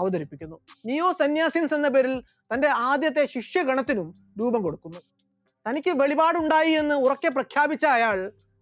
അവതരിപ്പിക്കുന്നു, neo sanyasis എന്ന പേരിൽ തന്റെ ആദ്യത്തെ ശിഷ്യഗണത്തിന് രൂപം കൊടുക്കുന്നു, തനിക്ക് വെളിപാടുണ്ടായി എന്ന് ഉറക്കെ പ്രഖ്യാപിച്ച അയാൾ